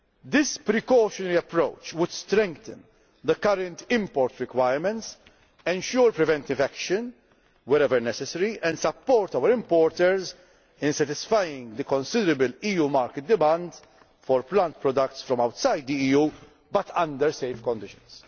risks. This precautionary approach would strengthen the current import requirements, ensure preventive action wherever necessary, and support our importers in satisfying the considerable EU market demand for plant products from outside the EU under safe